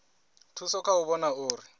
thusa kha u vhona uri